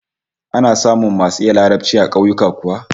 Ana samun masu iya Larabci a kauyuka kuwa?